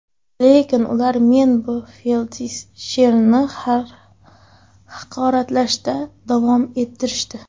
Lekin ular men va feldsherni haqoratlashda davom ettirishdi.